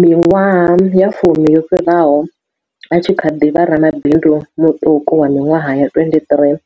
Miṅwaha ya fumi yo fhiraho, a tshi kha ḓi vha ramabindu muṱuku wa miṅwaha ya 23,